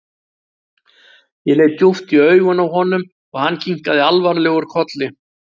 Ég leit djúpt í augun á honum og hann kinkaði alvarlegur kolli.